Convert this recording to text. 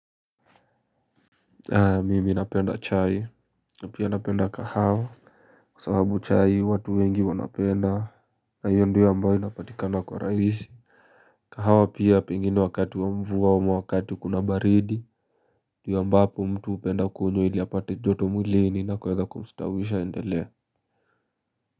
Aaa mimi napenda chai napia napenda kahawa kwa sababu chai watu wengi wanapenda. Hiyo ndio ambayo inapatikana kwa urahisi. Kahawa pia pengine wakati wa mvua ama wakati kuna baridi ndio ambapo mtu hupenda kukunywa ili apate joto mwilini ya kuweza kumstawisha aendelee.